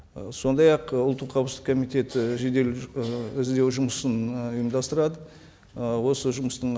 ы сондай ақ ұлттық қауіпсіздік комитеті жедел ы іздеу жұмысын ы ұйымдастырады ы осы жұмыстың